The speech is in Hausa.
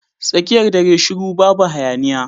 Tsakiyar dare shiru babu hayaniya.